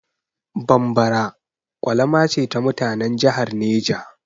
Bambara ƙwalama ce ta mutanan jihar Neja.